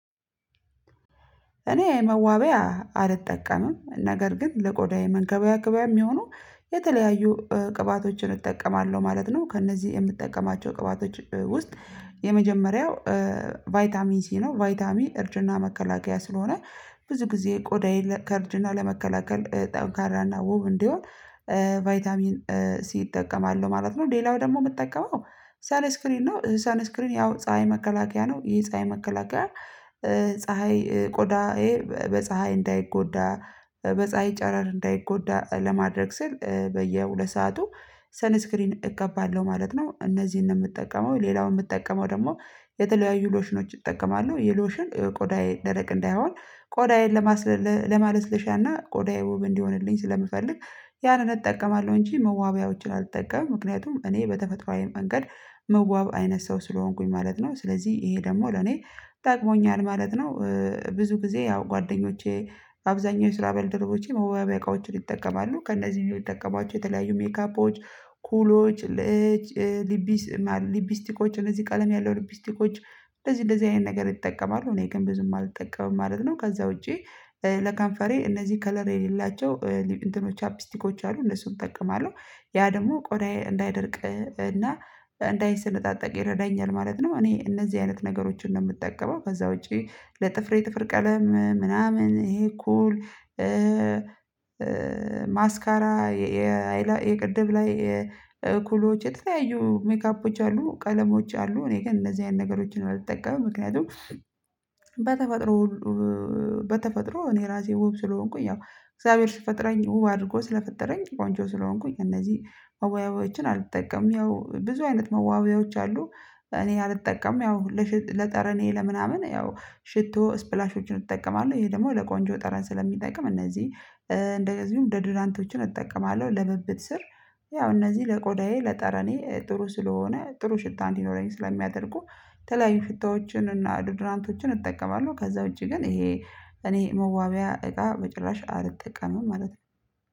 እኔ መዋቢያ አልጠቀምም ነገር ግን ለቆዳዬ መንከባከቢያ የሚሆነው ቅባቶችን እጠቀማለሁ ማለት ነው። ከእነዚህ የምጠቀማቸው ቅባቶች ውስጥ የመጀመሪያው ቫይታሚን ሲ ነው። ቫይታሚ እርጅና መከላከያ ስለሆነ ብዙ ጊዜ ቆዳዬን ከእርጅና ለመከላከል ጠንካራና ውብ እንዲሆን ቫይታሚን ሲ እጠቀማለሁ ማለት ነው። ሌላው ደግሞ የምትጠቀመው ሳን ስክሪን ነው ሳን ስክሪን ያው ፀሀይ መከላከያ ነው። ይሄ ፀሀይ መከላከያ ፀሀይ ቆዳ በፀሀይ እንዳይጎዳ በፀሀይ ጨረር እንዳይጎዳ ለማድረግ ስል በየሁለት ሰዓቱ ሰን ስክሪን እቀባለሁ ማለት ነው። እነዚህን ነው የምጠቀመው ሌላውን የምጠቀመው ደግሞ የተለያዩ ሎሽኖች እጠቀማለሁ። የሎሽን ቆዳዬ ደረቅ እንዳይሆን ቆዳዬን ለማለስለሻና ቆዳዬ ውብ እንዲሆንልኝ ስለምፈልግ ያንን እጠቀማለሁ እንጂ መዋቢያዎችን አልጠቀምም። ምክንያቱም እኔ በተፈጥሮአዊ መንገድ መዋብ አይነት ሰው ስለሆንኩኝ ማለት ነው። ስለዚህ ይሄ ደግሞ ለኔ ጠቅሞኛል ማለት ነው። ጊዜ ያው ጓደኞቼ አብዛኛው የስራ ባልደረቦቼ መዋበያ እቃዎችን ይጠቀማሉ። ከእነዚህ የሚጠቀሟቸው የተለያዩ ሜካፖች ኩሎች ሊቢስቲኮች እነዚህ ቀለም ያለው ሊቢስቲኮች እንደዚህ አይነት ነገር ይጠቀማሉ እኔ ግን ብዙም አልጠቀምም ማለት ነው። ከዛ ውጪ ለከምፈሬ እነዚህ ከለር የሌላቸው ቻፕስቲኮች አሉ እነሱን እጠቀማለሁ። ያ ደግሞ ቆዳዬ እንዳይደርቅ እና እንዳይሰንጣጠቅ ይረዳኛል ማለት ነው። እኔ እነዚህ አይነት ነገሮችን ነው ምጠቀመው። ከዛ ውጪ ለጥፍሬ ጥፍር ቀለም ምናምን ይሄ እኩል ማስካራ የቅድም ላይ እ ኩሎዎች የተለያዩ ሜካፖች አሉ ቀለሞች አሉ። እኔ ግን እነዚህ አይነት ነገሮችን ነው አልጠቀምም። ምክንያቱም በተፈጥሮ በተፈጥሮ እኔ ራሴ ውብ ስለሆንኩኝ ያው እግዚአብሔር ሲፈጥረኝ ውብ አድርጎ ስለፈጠረኝ ቆንጆ ስለሆንኩኝ እነዚህ መዋቢያዎችን አልጠቀምም። ያው ብዙ አይነት መዋቢያዎች አሉ እኔ አልጠቀምም። ያው ለጠረኔ ለምናምን ያው ሽቶ ስፕላሾችን እጠቀማለሁ። ይሄ ደግሞ ለቆንጆ ጠረን ስለሚጠቅም እነዚህ እንደዚሁም ደዱራንቶችን እጠቀማለሁ። ለብብት ስር ያው እነዚህ ለቆዳዬ ለጠረኔ ጥሩ ስለሆነ ጥሩ ሽታ እንደመኖረኝ ስለሚያደርጉ የተለያዩ ሽትሃዎችን እና ዱድራንቶችን እጠቀማለሁ። ከዛ ውጪ ግን ይሄ እኔ መዋቢያ እቃ በጭራሽ አልጠቀምም ማለት ነው።